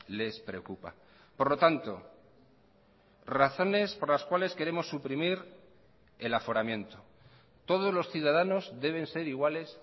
les preocupa por lo tanto razones por las cuales queremos suprimir el aforamiento todos los ciudadanos deben ser iguales